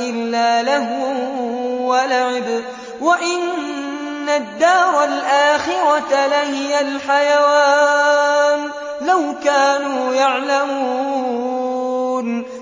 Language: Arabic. إِلَّا لَهْوٌ وَلَعِبٌ ۚ وَإِنَّ الدَّارَ الْآخِرَةَ لَهِيَ الْحَيَوَانُ ۚ لَوْ كَانُوا يَعْلَمُونَ